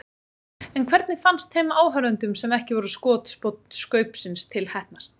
En hvernig fannst þeim áhorfendum sem ekki voru skotspónn Skaupsins til heppnast?